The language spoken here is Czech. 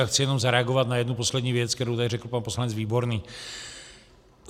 A chci jenom zareagovat na jednu poslední věc, kterou tady řekl pan poslanec Výborný.